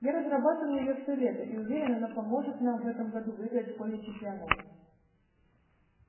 я разрабатывал её всё лето и уверен она поможет нам в этом году выиграть школьный чемпионат